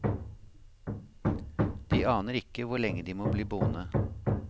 De aner ikke hvor lenge de må bli boende.